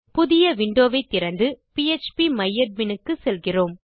புதிய விண்டோ வை திறந்து பிஎச்பி மை அட்மின் க்கு செல்கிறேன்